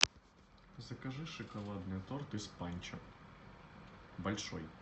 закажи шоколадный торт из панчо большой